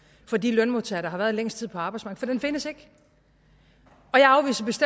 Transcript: for de lønmodtagere der har været længst tid på arbejdsmarkedet for den findes ikke